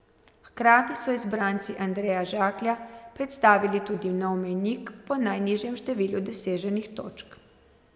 Hkrati so izbranci Andreja Žaklja postavili tudi nov mejnik po najnižjem številu doseženih točk.